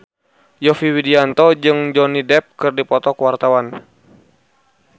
Yovie Widianto jeung Johnny Depp keur dipoto ku wartawan